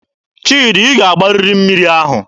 Chidi, ị ga-agbarịrị mmiri ahụ!